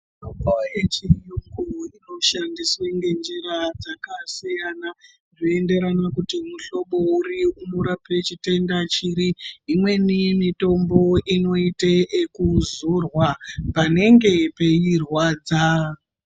Mitombo yechiyungu inoshandiswe ngenjira dzakasiyana, zveienderana nekuti mihlobo uri unorapa chitenda chiri .Imweni mitombo inoite ekuzorwa, paanenge peirwadza.